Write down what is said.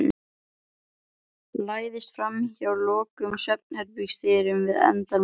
Læðist framhjá lokuðum svefnherbergisdyrunum við endann á ganginum.